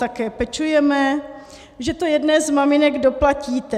Také pečujeme, že to jedné z maminek doplatíte.